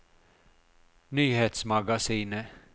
nyhetsmagasinet